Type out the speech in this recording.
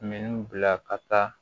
Minɛnw bila ka taa